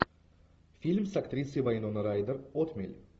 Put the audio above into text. фильм с актрисой вайнона райдер отмель